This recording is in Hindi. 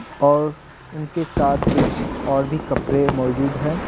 और उनके साथ कुछ और भी कपड़े मौजूद हैं।